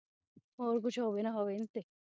ਹੋਰ ਕੁਛ ਹੋਵੇ ਨਾ ਹੋਵੇ ਇਨ ਤੇ